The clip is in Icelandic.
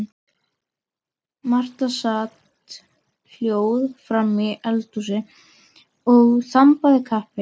Marta sat hljóð framí eldhúsi og þambaði kaffi.